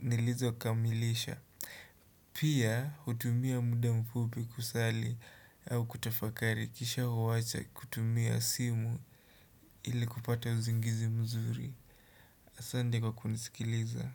nilizo kamilisha, pia hutumia muda mfupi kusali au kutafakari kisha huwacha kutumia simu ili kupata usingizi mzuri. Asante kwa kunisikiliza.